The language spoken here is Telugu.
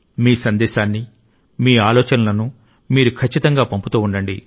మీ సందేశాన్ని మీ ఆలోచనలను మీరు ఖచ్చితంగా పంపుతూ ఉండండి